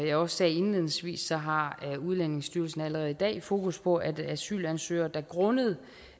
jeg også sagde indledningsvis har udlændingestyrelsen allerede i dag fokus på at asylansøgere der grundet